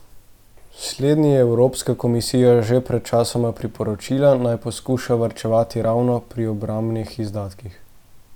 Slednji je Evropska komisija že pred časom priporočila, naj poskuša varčevati ravno pri obrambnih izdatkih.